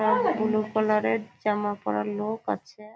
Blue colour -এর জামা পরা লোক আছে।